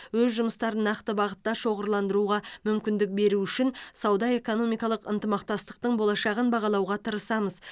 өз жұмыстарын нақты бағытта шоғырландыруға мүмкіндік беру үшін сауда экономикалық ынтымақтастықтың болашағын бағалауға тырысамыз